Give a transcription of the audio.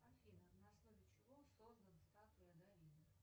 афина на основе чего создана статуя давида